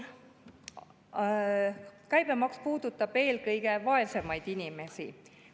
Käibemaks puudutab eelkõige vaesemaid inimesi.